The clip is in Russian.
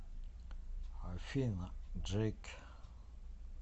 афина джейк